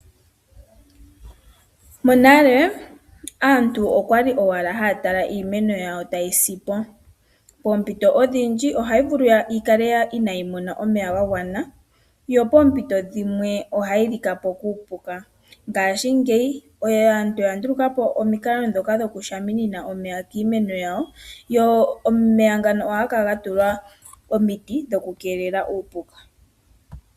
Monale aantu oya li owala haya tala iimeno yawo tayi sipo. Poompito odhindji ohayi vulu yi kale inayi mona omeya ga gwana, yo poompito dhimwe ohayi lika po kuupuka. Ngaashingeyi aantu oya nduluka po omikalo ndhoka dhokushamina omeya kiimeno yawo, go omeya ngaka ohaga kala ga tulwa omiti dhokukeelela uupuka.